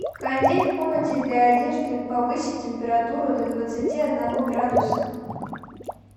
кондей в комнате для одежды повысить температуру до двадцати одного градуса